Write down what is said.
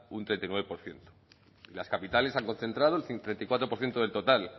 un treinta y nueve por ciento las capitales han concentrado el treinta y cuatro por ciento del total